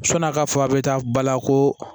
Sɔni a ka fɔ a bɛ taa bala ko